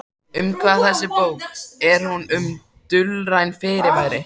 Um hvað er þessi bók, er hún um dulræn fyrirbæri?